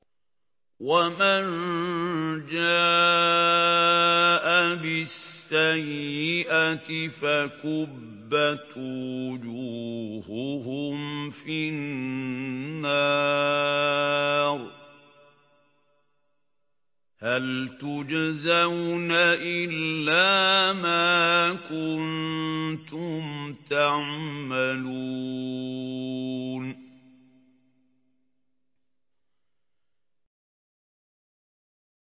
وَمَن جَاءَ بِالسَّيِّئَةِ فَكُبَّتْ وُجُوهُهُمْ فِي النَّارِ هَلْ تُجْزَوْنَ إِلَّا مَا كُنتُمْ تَعْمَلُونَ